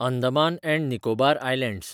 Andaman and Nicobar islands